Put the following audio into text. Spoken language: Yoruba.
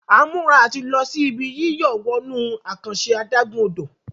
A ń mura àti ló sì Ibi yíyọ̀ wọnú àkànṣe adágún-odò.